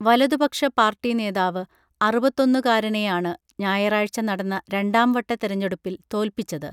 വലതു പക്ഷ പാർട്ടി നേതാവ് അറുപത്തൊന്നുകാരനേയാണ് ഞായറാഴ്ച നടന്ന രണ്ടാം വട്ട തെരഞ്ഞെടുപ്പിൽ തോൽപിച്ചത്